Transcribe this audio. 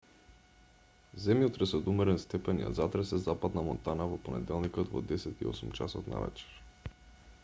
земјотрес од умерен степен ја затресе западна монтана во понеделникот во 10:08 часот навечер